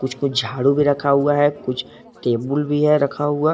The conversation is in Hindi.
कुछ कुछ झाड़ू भी रखा हुआ है कुछ टेबुल भी है रखा हुआ।